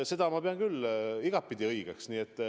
Seda ma pean küll igatpidi õigeks.